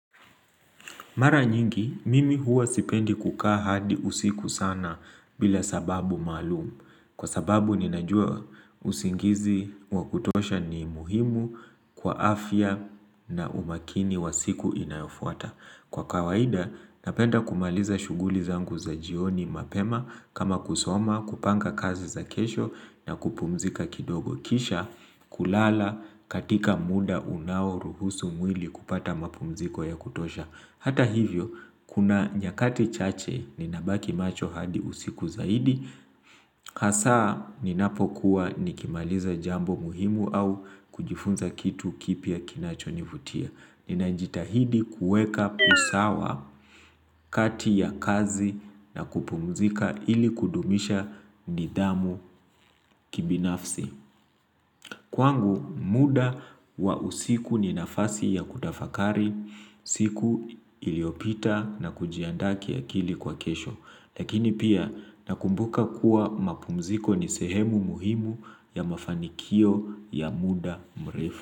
Mara nyingi, mimi huwa sipendi kukaa hadi usiku sana bila sababu maalumu. Kwa sababu ninajua usingizi wa kutosha ni muhimu kwa afya na umakini wa siku inayofuata. Kwa kawaida, napenda kumaliza shuguli zangu za jioni mapema kama kusoma, kupanga kazi za kesho na kupumzika kidogo. Kisha kulala katika muda unaoruhusu mwili kupata mapumziko ya kutosha. Hata hivyo, kuna nyakati chache ninabaki macho hadi usiku zaidi, hasa ninapokuwa nikimaliza jambo muhimu au kujifunza kitu kipya kinachonivutia. Ninajitahidi kueka usawa kati ya kazi na kupumzika ili kudumisha nidhamu kibinafsi. Kwangu muda wa usiku ni nafasi ya kutafakari, siku iliopita na kujiandaa kiakili kwa kesho. Lakini pia nakumbuka kuwa mapumziko ni sehemu muhimu ya mafanikio ya muda mrefu.